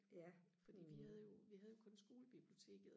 fordi vi havde jo vi havde jo kun skolebiblioteket